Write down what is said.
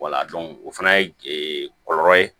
Wala dɔnku o fana ye kɔlɔlɔ ye